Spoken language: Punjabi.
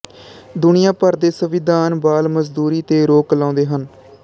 ਦੁਨੀਆ ਭਰ ਦੇ ਸੰਵਿਧਾਨ ਬਾਲ ਮਜ਼ਦੂਰੀ ਤੇ ਰੋਕ ਲਾਉਂਦੇ ਹਨ